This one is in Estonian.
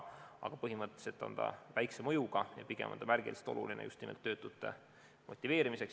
Aga põhimõtteliselt on muudatus väikse mõjuga, pigem märgiline ja oluline just nimelt töötute motiveerimiseks.